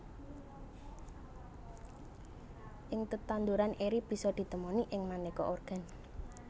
Ing tetanduran eri bisa ditemoni ing manéka organ